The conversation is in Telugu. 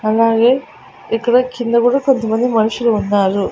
అలాగే ఇక్కడ కింద కూడా కొంతమంది మనుషులు ఉన్నారు.